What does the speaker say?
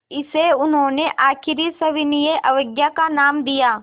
इसे उन्होंने आख़िरी सविनय अवज्ञा का नाम दिया